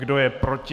Kdo je proti?